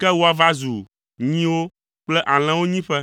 ke woava zu nyiwo kple alẽwo nyiƒe.